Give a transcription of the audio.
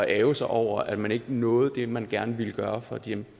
ærgre sig over at man ikke nåede det man gerne ville gøre for de